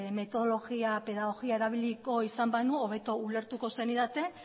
metodologia edo pedagogia erabiliko izan banu hobeto ulertuko zenidaten